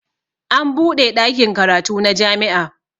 An buɗe ɗakin karatu na jami'a